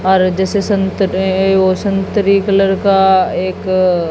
और जैसे संतरे और संतरी कलर का एक--